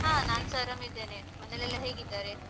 ಹಾ ನಾನ್ಸ ಆರಾಮ್ ಇದ್ದೇನೆ ಮನೆಲೆಲ್ಲಾ ಹೇಗಿದ್ದಾರೆ?